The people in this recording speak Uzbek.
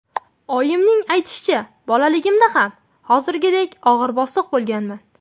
Oyimning aytishicha, bolaligimda ham hozirgidek og‘ir-bosiq bo‘lganman.